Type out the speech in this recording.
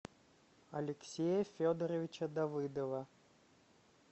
алексея федоровича давыдова